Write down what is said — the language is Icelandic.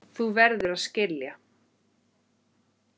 Þú verður að skilja.